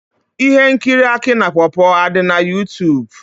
Ihe nkiri aki na pawpaw adi na Youtube?